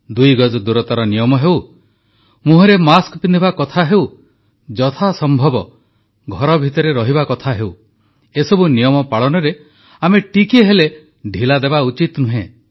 ଦୁଇଗଜ ଦୂରତାର ନିୟମ ହେଉ ମୁହଁରେ ମାସ୍କ ପିନ୍ଧିବା କଥା ହେଉ ଯଥା ସମ୍ଭବ ଘର ଭିତରେ ରହିବା କଥା ହେଉ ଏସବୁ ନିୟମ ପାଳନରେ ଆମେ ଟିକିଏ ହେଲେ ଢ଼ିଲା ଦେବା ଉଚିତ ନୁହେଁ